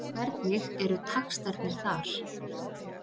Og hvernig eru taxtarnir þar?